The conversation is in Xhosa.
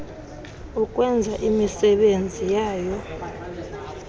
ukwenza imisebenzi yayo